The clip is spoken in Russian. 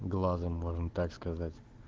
глазом можно так сказать